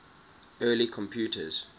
early computers